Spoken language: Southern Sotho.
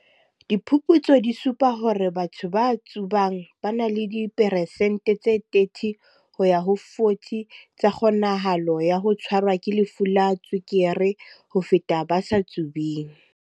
"Diphuputso di supa hore batho ba tsubang ba na le di peresente tse 30 ho ya ho 40 tsa kgonahalo ya ho tshwarwa ke lefu la tswekere ho feta ba sa tsubeng."